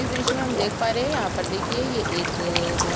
इस दृश्य में हम देख पा रहे है यहाँ पर देखिए ये एक बहुत--